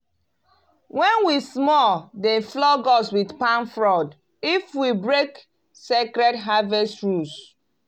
when we small dem flog us with palm frond if we break sacred harvest rules.